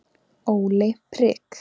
Óli prik